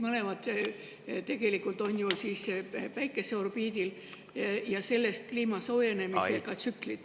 Mõlemad on tegelikult ju Päikese orbiidil ja sellest ka kliima soojenemise tsüklid.